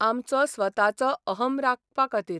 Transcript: आमचो स्वताचो अहं राखपा खातीर.